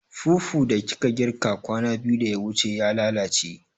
Fufu da kika girka kwana biyu da ya wuce ya lalace